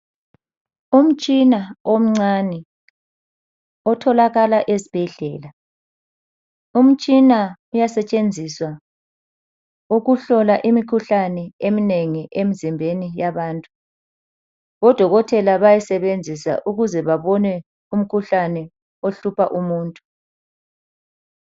Umtshina omncane otholakala ezibhedlela. Umtshina uyasetshenziswa ukuhlola imikhuhlane eminengi emzimbeni yabantu. Odokotela bayayisebenzisa ukuze babone umkhuhlane ohlupha umuntu.